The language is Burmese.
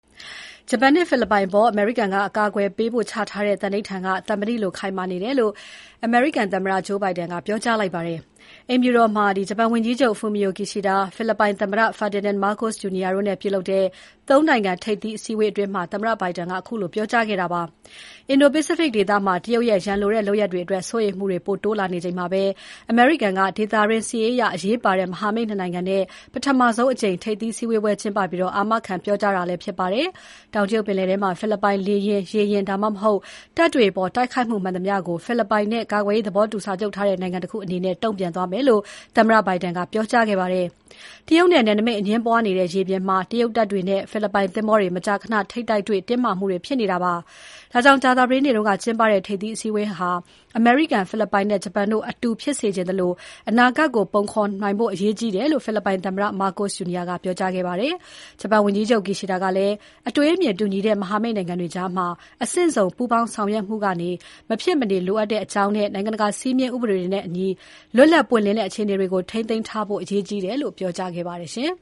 ဂျပန်နဲ့ ဖိလစ်ပိုင်အပေါ် အမေရိကန်က ကာကွယ်ပေးဖို့ချထားတဲ့သန္နိဋ္ဌာန်က သံမဏိလိုခိုင်မာတယ်လို့ အမေရိကန်သမ္မတ Joe Biden က ပြောကြားလိုက်ပါတယ်။ အိမ်ဖြူတော်မှာ ဂျပန်ဝန်ကြီးချုပ် Fumio Kishida၊ ဖိလစ်ပိုင် သမ္မတ Ferdinand Marcos Jr. တို့နဲ့ ပြုလုပ်တဲ့ ၃ နိုင်ငံ ထိပ်သီးအစည်းအဝေးအတွင်းမှာ သမ္မတ Biden ကခုလို ပြောကြားခဲ့တာဖြစ်ပါတယ်။ အင်ဒို ပိစိဖိတ်ဒေသမှာ တရုတ်ရဲ့ ရန်လိုတဲ့လုပ်ရပ်တွေအတွက် စိုးရိမ်မှုတွေ ပိုတိုးလာနေချိန်မှာ အမေရိကန်က ဒေသတွင်း စစ်ရေးအရ အရေးပါတဲ့ မဟာမိတ် ၂ နိုင်ငံနဲ့ ပထမဆုံးအကြိမ် ထိပ်သီးအစည်းအဝေး ကျင်းပပြီး အာမခံပြောကြားတာလည်း ဖြစ်ပါတယ်။ တောင်တရုတ်ပင်လယ်ထဲမှာ ဖိလစ်ပိုင် လေယာဉ်၊ ရေယာဉ်၊ ဒါမှမဟုတ် တပ်တွေအပေါ် တိုက်ခိုက်မှု မှန်သမျှကို ဖိလစ်ပိုင်နဲ့ ကာကွယ်ရေးသဘောတူစာချုပ်ထားတဲ့ နိုင်ငံတခုအနေနဲ့ တုံ့ပြန်သွားမယ်လို့ သမ္မတ Biden ကပြောကြားခဲ့ပါတယ်။ တရုတ်နဲ့ နယ်နိမိတ်အငြင်းပွားနေတဲ့ ရေပြင်မှာ တရုတ်တပ်တွေနဲ့ ဖိလစ်ပိုင် သင်္ဘောတွေ မကြာခဏ ထိပ်တိုက်တွေ့ တင်းမာမှုတွေ ဖြစ်နေတာပါ။ ဒါကြောင့် ကြာသပတေးနေ့က ကျင်းပတဲ့ ထိပ်သီးစည်းဝေးပွဲဟာ အမေရိကန်၊ ဖိလစ်ပိုင်နဲ့ ဂျပန်တို့ အတူ ဖြစ်စေချင်သလို အနာဂါတ်ကို ပုံဖော်နိုင်ဖို့ အရေးကြီးတယ်လို့ ဖိလစ်ပိုင်သမ္မတ Marcos Jr. ကပြောကြားခဲ့ပါတယ်။ ဂျပန်ဝန်ကြီးချုပ် Kishida ကလည်း အတွေးအမြင်တူညီတဲ့ မဟာမိတ်နိုင်ငံတွေကြား အဆင့်စုံ ပူးပေါင်းဆောင်ရွက်မှုက မဖြစ်မနေလိုအပ်ကြောင်းနဲ့ နိုင်ငံတကာ စည်းမျဉ်းဥပဒေတွေနဲ့အညီ လွတ်လပ် ပွင့်လင်းတဲ့အခြေအနေတွေကို ထိန်းသိမ်းထားဖို့ အရေးကြီးတယ်လို့ ပြောကြားခဲ့ပါတယ်။ အင်